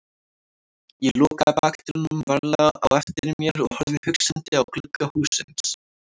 Ég lokaði bakdyrunum varlega á eftir mér og horfði hugsandi á glugga hússins.